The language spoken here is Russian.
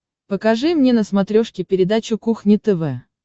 покажи мне на смотрешке передачу кухня тв